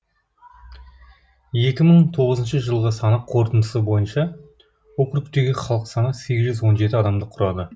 екі мың тоғызыншы жылғы санақ қорытындысы бойынша округтегі халық саны сегіз жүз он жеті адамды құрады